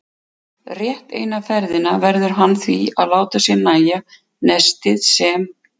Rétt eina ferðina verður hann því að láta sér nægja nestið sem